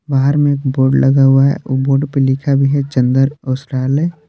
बाहर में एक बोर्ड लगा हुआ है वो बोर्ड पे लिखा भी है चंदन वस्त्रालय।